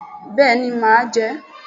Béèni màá je é